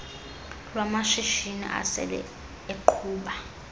lwamashishini asele eqhuba